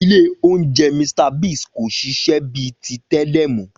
Ilé oúnjẹ Mr Biggs kò ṣiṣẹ́ bíi ti tẹ́lẹ̀ mọ́